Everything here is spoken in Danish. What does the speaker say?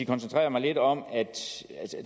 koncentrere mig lidt om at